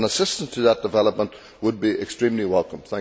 Assistance to that development would be extremely welcome.